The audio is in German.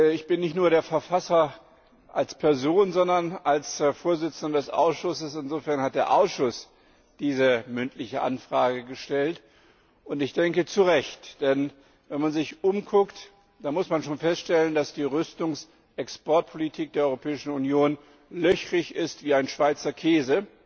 Ich bin nicht nur als Person, sondern auch als Vorsitzender des Ausschusses der Verfasser. Insofern hat der Ausschuss diese mündliche Anfrage gestellt, und ich denke zu Recht. Wenn man sich umschaut, muss man feststellen, dass die Rüstungsexportpolitik der Europäischen Union löchrig ist wie ein Schweizer Käse,